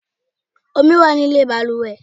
Omi wá nílé baluwe